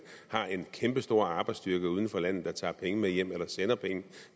har en kæmpestor arbejdsstyrke uden for landet der tager penge med hjem eller sender penge